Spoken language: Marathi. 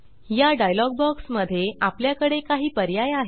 या डायलॉग बॉक्स मध्ये आपल्याकडे काही पर्याय आहेत